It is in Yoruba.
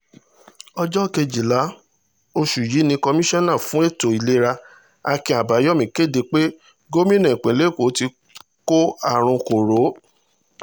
ọjọ́ kejìlá oṣù yìí ni komisanna fún ètò ìlera akin abayomi kéde pé gómìnà ìpínlẹ̀ èkó ti kó àrùn koro